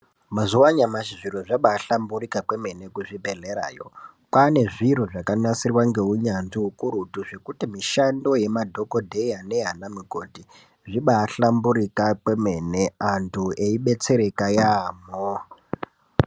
Mazuwa anyamashi zviro zvabahlamburika kwemene kuzvibhehlerayo. kwane zviro zvakanasirwa ngeunyanzvi ukurutu zvekuti mishando yemadhokodheya neyana mukoti zvibahlamburika kwemene antu eibetsereka yaamho.